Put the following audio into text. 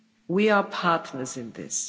We are partners in this.